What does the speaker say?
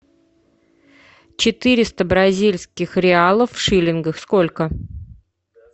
четыреста бразильских реалов в шиллингах сколько